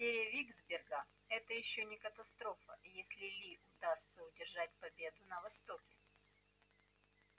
потеря виксберга это ещё не катастрофа если ли удастся одержать победу на востоке